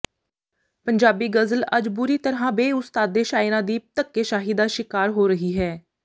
ਪੰਜਾਬੀ ਗ਼ਜ਼ਲ ਅੱਜ ਬੁਰੀ ਤਰ੍ਹਾਂ ਬੇਉਸਤਾਦੇ ਸ਼ਾਇਰਾਂ ਦੀ ਧੱਕੇਸ਼ਾਹੀ ਦਾ ਸ਼ਿਕਾਰ ਹੋ ਰਹੀ ਹੈ